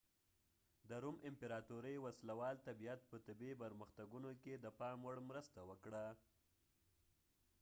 د روم امپراطورۍ وسله وال طبیعت په طبي پرمختګونو کې د پام وړ مرسته وکړه